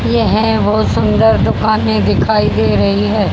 ये है बहुत सुंदर दुकानें दिखाई दे रही है।